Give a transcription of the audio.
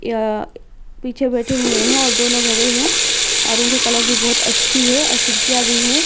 यह पीछे बैठे हुए हैं और दोनों खड़े हैं और उनकी कलर भी बहुत अच्छी है और खिड़कियां भी हैं।